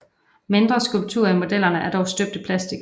Mindre skulpturer i modellerne er dog støbt i plastik